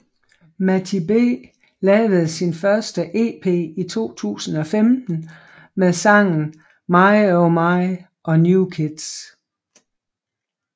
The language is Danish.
MattyB lavede sin første EP i 2015 med sangen My oh My og New kids